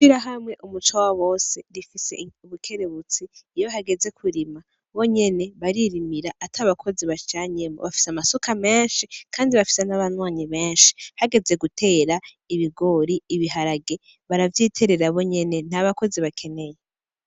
Ishirahamwe umuco wabose rifise ubukerebutsi iyo hageze kurima , bonyene baririmira atabakozi bajanyemwo bafise amasuka menshi Kandi bafise nabanywanyi benshi , hageze gutera ibigori, ibiharage baravyiterera bonyene ntabakozi bakeneye.